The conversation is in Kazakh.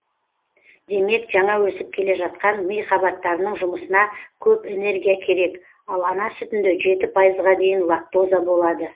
демек жаңа өсіп келе жатқан ми қабаттарының жұмысына көп энергия керек ал ана сүтінде жеті пайызға дейін лактоза болады